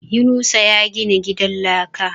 Yunusa ya gina gidan laka